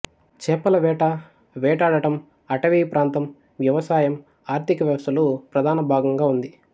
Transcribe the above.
చేపల వేట వేటాడటం అటవీప్రాంతం వ్యవసాయం ఆర్థిక వ్యవస్థలో ప్రధానభాగంగా ఉంది